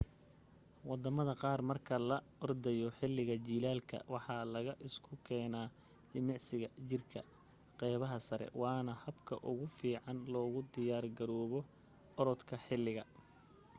wadamada qaar marka la ordaya xiliga jilaalka waxa la isku keena jimicsiga jirka qeybta sare waana habka ugu fiican loogu diyaar garoobo oradka xiliga